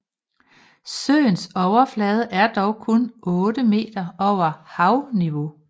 Søens overflade er dog kun 8 meter over havniveau